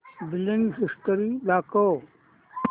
billing history दाखव